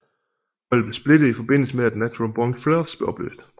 Holdet blev splittet i forbindelse med at Natural Born Thrillers blev opløst